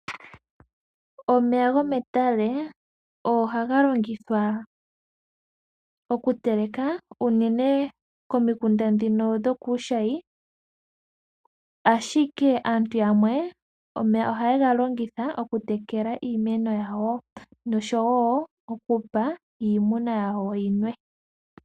Omeya go metale ohaga longithwa oku teleka unene komikunda ndhino dho kuushayi, ashike aantu yamwe omeya oha ye ga longitha oku tekela iimeno yawo osho wo okupa iimuna yawo yinwe.